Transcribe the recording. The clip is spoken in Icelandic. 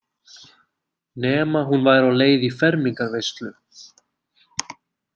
Nema hún væri á leið í fermingarveislu.